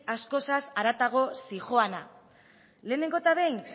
askoz haratago zihoana lehenengo eta behin